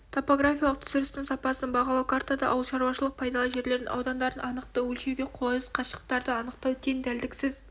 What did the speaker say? топографиялық түсірістің сапасын бағалау картада ауылшаруашылық пайдалы жерлердің аудандардың анықтау өлшеуге қолайсыз қашықтықтарды анықтау тең дәлдіксіз